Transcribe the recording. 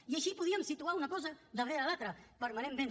i així podríem situar una cosa darrere l’altra permanentment